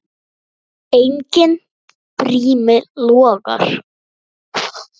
Enginn brími logar.